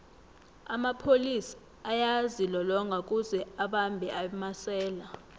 amapholis ayazilolonga kuze abambhe amasela